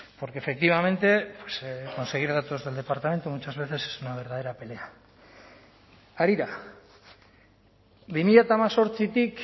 porque efectivamente conseguir datos del departamento muchas veces es una verdadera pelea harira bi mila hemezortzitik